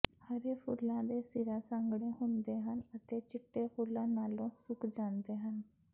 ਹਰੇ ਫੁੱਲਾਂ ਦੇ ਸਿਰਾਂ ਸੰਘਣੇ ਹੁੰਦੇ ਹਨ ਅਤੇ ਚਿੱਟੇ ਫੁੱਲਾਂ ਨਾਲੋਂ ਸੁੱਕ ਜਾਂਦੇ ਹਨ